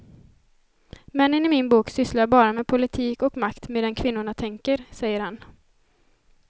Männen i min bok sysslar bara med politik och makt medan kvinnorna tänker, säger han.